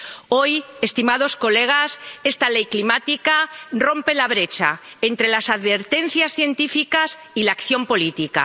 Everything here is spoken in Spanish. Hoy, estimados colegas, esta Ley climática rompe la brecha entre las advertencias científicas y la acción política.